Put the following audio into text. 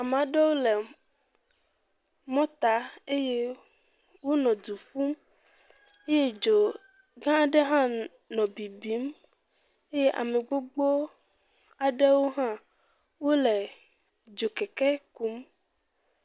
Ame aɖewo le mɔta eye wonɔ du ƒum eye dzo gã aɖe hã nɔ bibim eye ame gbogbo aɖewo hã wole dzokeke kum.